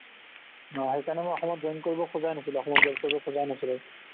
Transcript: অ' সেইকাৰণে মই অসমত join কৰিব খোজাই নাছিলো অসমত join কৰিব খোজাই নাছিলো